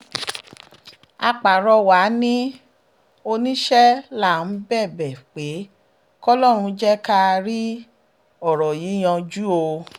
a pàrọwà ni ò níṣẹ́ là ń bẹ̀bẹ̀ pé kọlọ́run jẹ́ ká rí ọ̀rọ̀ yìí yanjú o